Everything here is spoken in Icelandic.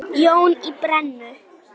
Jón í Brennu.